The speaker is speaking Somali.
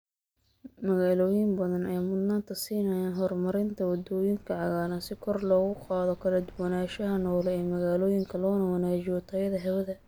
Magaalooyin badan ayaa mudnaanta siinaya horumarinta waddooyinka cagaaran si kor loogu qaado kala duwanaanshaha noole ee magaalooyinka loona wanaajiyo tayada hawada.